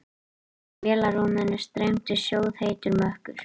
Úr vélarrúminu streymdi sjóðheitur mökkur.